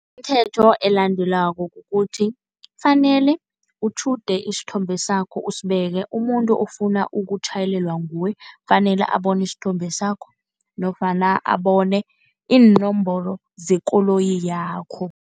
Imithetho elandelwako kukuthi, kufanele utjhude isithombe sakho usibeke. Umuntu ofuna ukutjhayelelwa nguwe kufanele abone isithombe sakho nofana abone iinomboro zekoloyi yakho.